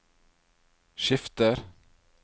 skifter